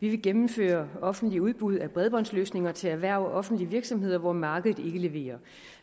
vi vil gennemføre offentlige udbud af bredbåndsløsninger til erhverv og offentlige virksomheder hvor markedet ikke leverer